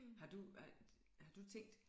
Har du ej har du tænkt